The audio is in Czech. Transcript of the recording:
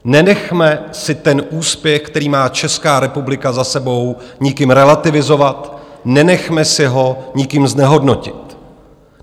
Nenechme si ten úspěch, který má Česká republika za sebou, nikým relativizovat, nenechme si ho nikým znehodnotit.